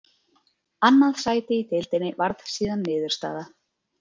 Annað sæti í deildinni varð síðan niðurstaða.